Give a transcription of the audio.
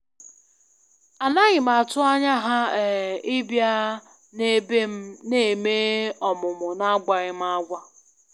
A naghịm atụ anya ha um ịbịa na ebe m na-eme ọmụmụ na agwaghịm agwa